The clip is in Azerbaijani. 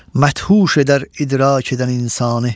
Məthuş edər idrak edən insanı.